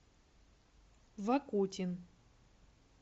вакутин